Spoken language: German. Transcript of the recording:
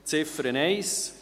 Ziffer 1: